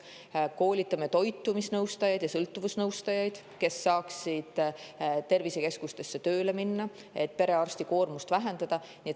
Koolitame toitumisnõustajaid ja sõltuvusnõustajaid, kes saaksid tervisekeskustesse tööle minna, et perearsti koormust vähendada.